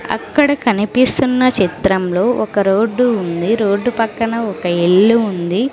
అక్కడ కనిపిస్తున్న చిత్రంలో ఒక రోడ్డు ఉంది రోడ్డు పక్కన ఒక ఇల్లు ఉంది.